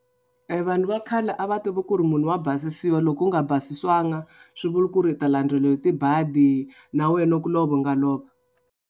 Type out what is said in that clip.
Vanhu va khale a va tiva ku ri munhu wa basisiwa loko u nga basisiwanga swi vulwa ku ri u ta landzeriwa hi tibadi na wehe na ku lova u nga lova.